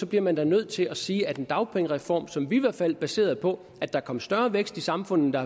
bliver man da nødt til at sige at en dagpengereform som vi i hvert fald baserede på at der kom større vækst i samfundet